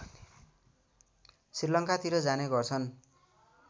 श्रीलङ्कातिर जाने गर्छन्